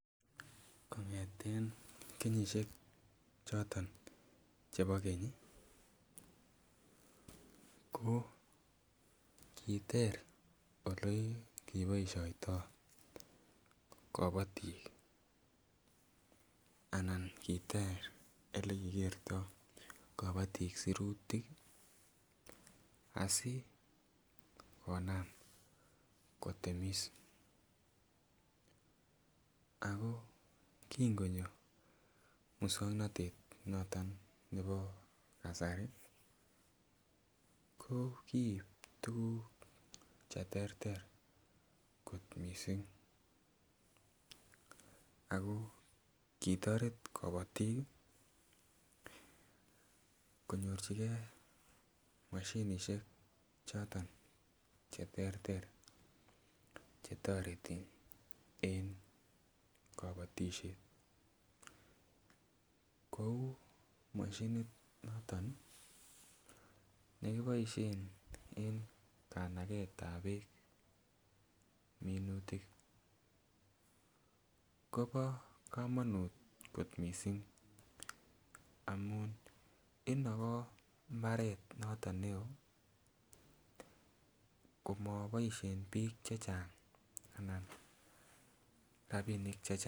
Kong'eten kenyisiek choton chebo keny ih ko kiter olekeboisioto kobotik anan kiter elekikertoo kobotik sirutik asikonam kotemis ako kin konyo muswongnotet noton nebo kasari ko kiib tuguk cheterter kot missing ako kitoret kobotik konyorchigee moshinisiek choton cheterter chetoreti en kobotisiet kou moshinit noton nekiboisien en kanaget ab beek minutik kobo komonut kot missing amun inogo mbaret noton neoo komoboisien biik chechang anan rapinik chechang